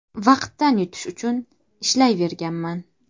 Vaqtdan yutish uchun ishlayverganman.